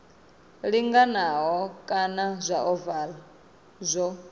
linganaho kana zwa ovala zwo